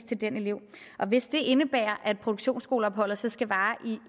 til den elev hvis det indebærer at produktionsskoleopholdet så skal vare